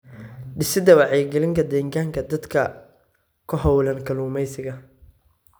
Dhisidda Wacyigelinta Deegaanka Dadka ku hawlan kalluumaysiga.